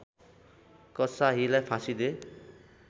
कसाहीलाई फाँसी दे